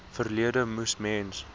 verlede moes mens